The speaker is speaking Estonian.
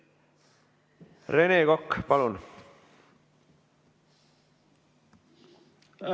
Rene Kokk, palun!